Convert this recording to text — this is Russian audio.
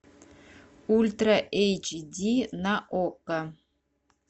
ультра эйч ди на окко